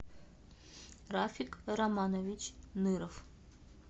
рафик романович ныров